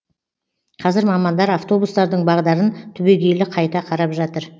қазір мамандар автобустардың бағдарын түбегейлі қайта қарап жатыр